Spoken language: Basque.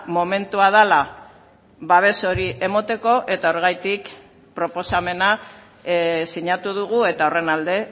momentua dela babes hori emateko eta horregatik proposamena sinatu dugu eta horren alde